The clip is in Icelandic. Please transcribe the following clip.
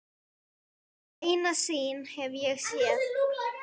Eina sýn hef ég séð.